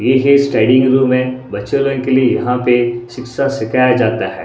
ये एक स्टडी के रूम है बच्चों का इनके के लिए यहां पे शिक्षा सिखाया जाता है।